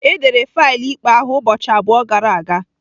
Edere faịlụ ikpe ahụ ụbọchị abụọ gara aga.